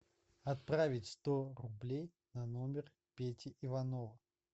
отправить сто рублей на номер пети иванова